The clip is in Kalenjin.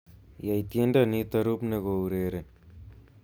Yai tiendo nito rubne koureren